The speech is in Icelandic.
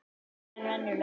Þyngri en venjulega.